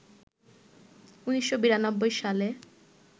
১৯৯২ সালে